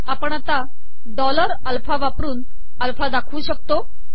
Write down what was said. आपण dollar alpha वापरन alpha दाखवू शकतो